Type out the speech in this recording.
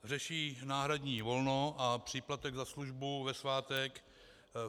Řeší náhradní volno a příplatek za službu ve svátek.